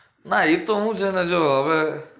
ના એ તો હું છે ને જો હવે